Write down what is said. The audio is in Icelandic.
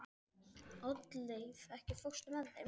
Oddleif, ekki fórstu með þeim?